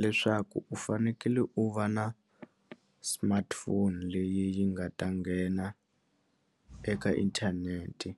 Leswaku u fanekele u va na smartphone leyi nga ta nghena eka inthanete